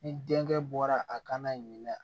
Ni denkɛ bɔra a kana ɲina